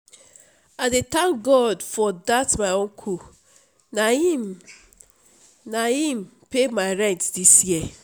i dey thank god for dat my uncle na im na im pay my rent dis year